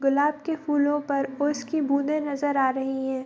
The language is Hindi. गुलाब के फुलो पर ओस की बूंदे नजर आ रही है।